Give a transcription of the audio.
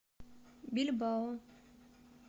бильбао